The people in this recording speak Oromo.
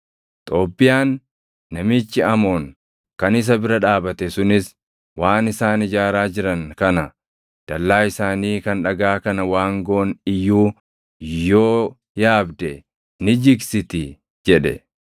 Xoobbiyaan namichi Amoon kan isa bira dhaabate sunis, “Waan isaan ijaaraa jiran kana, dallaa isaanii kan dhagaa kana waangoon iyyuu yoo yaabde ni jigsiti!” jedhe.